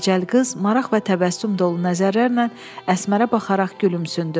Dəcəl qız maraq və təbəssüm dolu nəzərlərlə Əsmərə baxaraq gülümsündü.